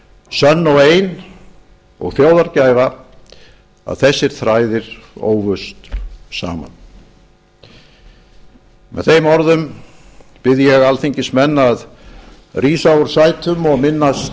sönn og ein og þjóðargæfa að þessir þræðir ófust saman með þeim orðum bið ég alþingismenn að rísa úr sætum og minnast